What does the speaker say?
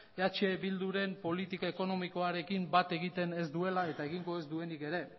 eh bilduren politika ekonomikoarekin bat egiten ez duela eta egingo ez duenik ere